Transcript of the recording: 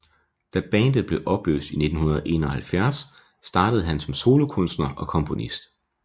Da bandet blev opløst i 1971 startede han som solokunstner og komponist